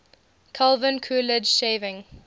calvin coolidge shaving